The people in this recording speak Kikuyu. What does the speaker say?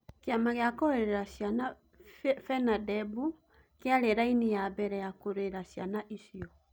Kiama gia kũrũerera ciana FENADEB kĩarĩ raini ya mbere kũrũera ciana icio